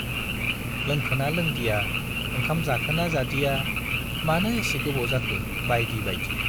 लोंखोना लोंदिया, ओंखाम जाखोना जादिया, मानो एसे गोबाव जाखो बाइदि बाइदि।